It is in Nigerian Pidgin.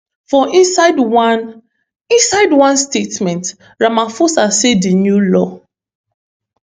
for inside one inside one statement ramaphosa say di new law